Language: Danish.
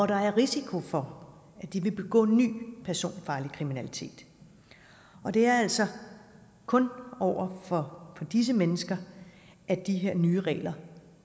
der er risiko for vil begå ny personfarlig kriminalitet og det er altså kun over for disse mennesker at de her nye regler